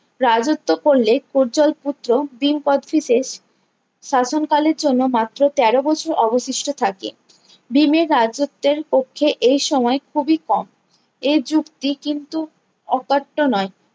রাজ্যত্ব করলে পূর্জল পুত্র ভীম কোচটিসেস শাসন কালের জন্য মাত্র তেরো বছর অবশিষ্ট থাকে ভীম এর রাজ্যতের পক্ষে এই সময়ে খুবই কম এ যুক্তি কিন্তু অকার্ত্ত নয়